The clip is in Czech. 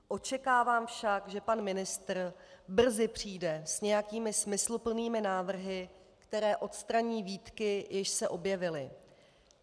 Očekávám však, že pan ministr brzy přijde s nějakými smysluplnými návrhy, které odstraní výtky, jež se objevily.